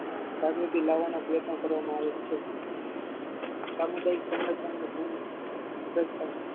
કાર્યાતિ લાવાનો પ્રયત્નનો કરવામાં આવે છે સામુદાયિક સંગઠન ની ભૂમિ કરતા